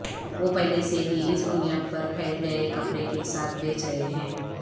وہ پہلے سے ہی اس بنیاد پر پھیل گئے کپڑے کے ساتھ بیچ رہے ہیں